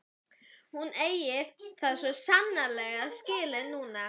Hún eigi það svo sannarlega skilið núna.